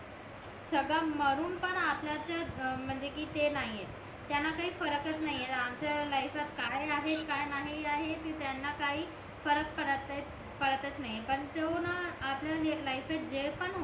सगळं मारून पण आपल्याच म्हणजे कि ते नाही आहे त्यांना काही फरकच नाही आहे आमच्या लाईफात काय आहे काय नाही आहे ते त्यांना काय फरक पडत नाय पडतच नाही पण तो ना आपल्याला जी एक लाईफ आहे जे पण